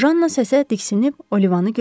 Janna səsə diksinib Olivanı gördü.